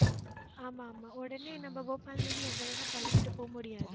ஆமா, ஆமா. உடனே நம்ம போபால் மாதிரி எங்க வேணா கிளம்பிட்டு போக முடியாது.